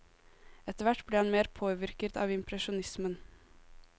Etterhvert ble han mer påvirket av impresjonismen.